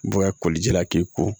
Bɔlijɛla k'i ko